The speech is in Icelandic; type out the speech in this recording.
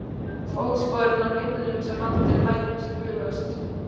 Fótsporum á himnum sem aldrei lætur bugast.